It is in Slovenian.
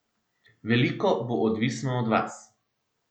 Veliko bo odvisno od vas.